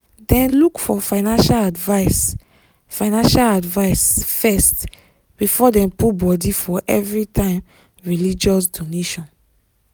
dem look for financial advice financial advice first before dem put body for everytime religious donation.